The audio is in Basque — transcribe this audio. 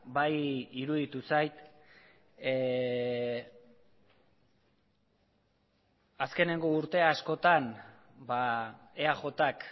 bai iruditu zait azkeneko urte askotan eajk